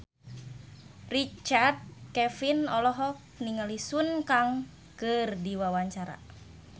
Richard Kevin olohok ningali Sun Kang keur diwawancara